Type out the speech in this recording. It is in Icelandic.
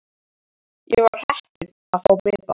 Ég var heppin að fá miða.